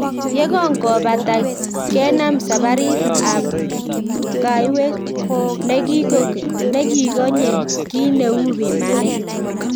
Ye kongopata kinam saparit ab kaiwet ne kikonye kii neu pimanet